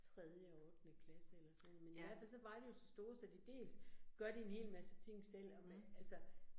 Tredje og ottende klasse eller sådan noget, men i hvert fald så var de jo så store, så de dels gør de en hel masse ting selv, og med altså